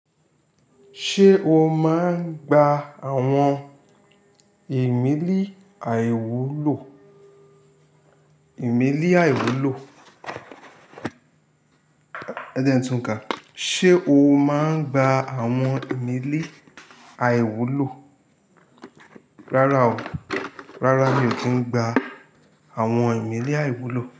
Ṣé o máa ń gba àwọn ìmílẹ̀ àìwúlò? Ìmílẹ̀ àìwúlò. Ẹ jẹ́n túnka. Sé o máa ń gba àwọn ìmílẹ̀ àìwúlò? Rárá o, rárá mi ò kí ń gba àwọn ìmílẹ̀ àìwúlò.